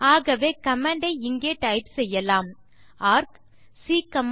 ஆக்வே command ஐ இங்கே type செய்யலாம் ArccBc